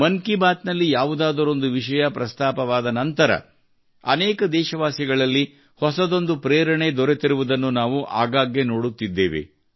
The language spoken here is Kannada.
ಮನ್ ಕಿ ಬಾತ್ ನಲ್ಲಿ ಯಾವುದಾದರೊಂದು ವಿಷಯ ಪ್ರಸ್ತಾಪವಾದ ನಂತರ ಅನೇಕ ದೇಶವಾಸಿಗಳಲ್ಲಿ ಹೊಸದೊಂದು ಪ್ರೇರಣೆ ದೊರೆತಿರುವುದನ್ನು ನಾವು ಆಗಾಗ್ಗೆ ನೋಡುತ್ತಿದ್ದೇವೆ